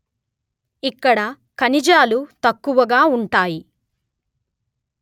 ఇక్కడ ఖనిజాలు తక్కువగా ఉంటాయి